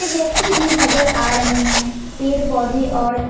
व्यक्ति भी नजर आ रहे हैं पेड़ पौधे और--